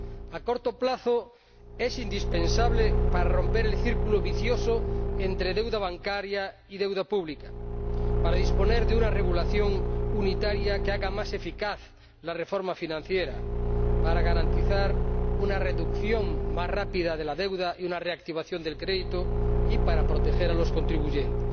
a corto plazo es indispensable para romper el círculo vicioso entre deuda bancaria y deuda pública, para disponer de una regulación unitaria que haga más eficaz la reforma financiera, para garantizar una reducción más rápida de la deuda y una reactivación del crédito y para proteger a los contribuyentes.